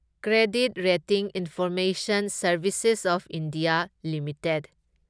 credit rating information services of India limited